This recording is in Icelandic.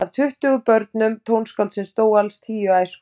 Af tuttugu börnum tónskáldsins dóu alls tíu í æsku.